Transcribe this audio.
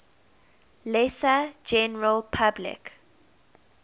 lesser general public